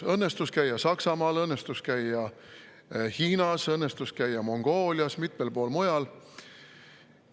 Mul õnnestus käia Saksamaal, õnnestus käia Hiinas, õnnestus käia Mongoolias ja mitmel pool mujal.